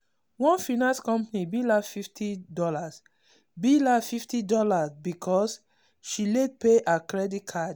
one finance company bill her fifty dollarsbill her fifty dollarsbecause she late pay her credit card.